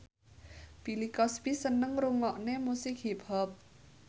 Bill Cosby seneng ngrungokne musik hip hop